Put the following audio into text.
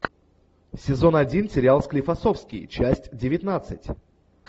сезон один сериал склифосовский часть девятнадцать